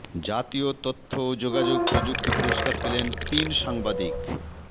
জাতীয় তথ্য ও যোগাযোগ প্রযুক্তি পুরস্কার পেলেন তিন সাংবাদিক